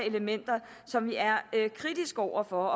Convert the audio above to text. elementer som vi er kritiske over for